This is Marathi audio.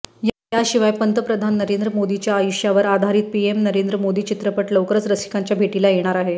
याशिवाय पंतप्रधान नरेंद्र मोदींच्या आयुष्यावर आधारित पीएम नरेंद्र मोदी चित्रपट लवकरच रसिकांच्या भेटीला येणार आहे